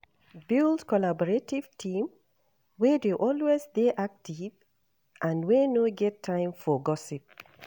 Build collaborative team wey dey always dey active and wey no get time for gossip